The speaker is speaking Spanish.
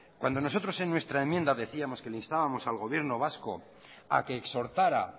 cuando nosotros es nuestra enmienda decíamos que instábamos al gobierno vasco a que exhortara